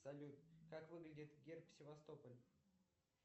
салют как выглядит герб севастополь